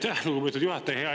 Aitäh, lugupeetud juhataja!